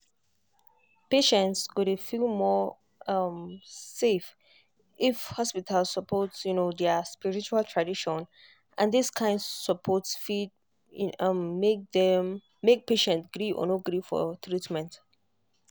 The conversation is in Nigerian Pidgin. patients go dey feel more um safe if hospital support um their spiritual tradition and this kind support fit um make patient gree or no gree for treatment.